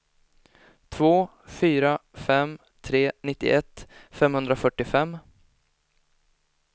två fyra fem tre nittioett femhundrafyrtiofem